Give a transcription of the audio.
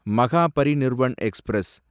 Mahaparinirvan express